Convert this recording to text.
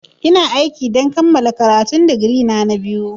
Ina aiki don kammala karatun digiri na biyu na.